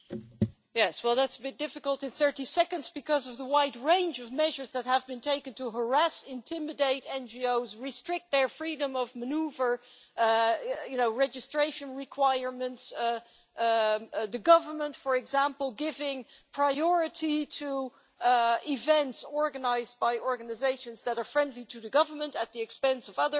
That is a bit difficult in 30 seconds because of the wide range of measures that have been taken to harass and intimidate NGOs, restrict their freedom of manoeuvre and registration requirements the government, for example, giving priority to events organised by organisations that are friendly to the government at the expense of other NGOs.